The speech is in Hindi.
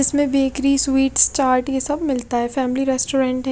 इसमें बेकरी स्वीट्स चार्ट ये सब मिलता है फैमिली रेस्टोरेंट है।